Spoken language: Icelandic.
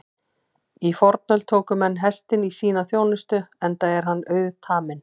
Í fornöld tóku menn hestinn í sína þjónustu enda er hann auðtaminn.